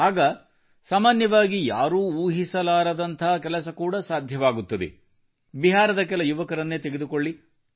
ಆಗ ಸಾಮಾನ್ಯವಾಗಿ ಯಾರೂ ಊಹಿಸಲಾರದಂಥ ಕೆಲಸ ಕೂಡ ಸಾಧ್ಯವಾಗುತ್ತದೆ ಬಿಹಾರದ ಕೆಲ ಯುವಕರನ್ನೇ ತೆಗೆದುಕೊಳ್ಳಿ